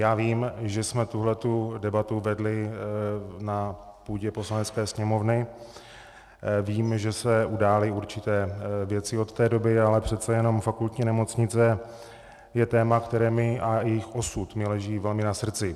Já vím, že jsme tuhle debatu vedli na půdě Poslanecké sněmovny, vím, že se udály určité věci od té doby, ale přece jenom Fakultní nemocnice je téma, které mi, a její osud mi leží velmi na srdci.